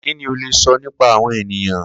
Kini o le sọ nipa awọn eniyan?